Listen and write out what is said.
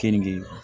Kenige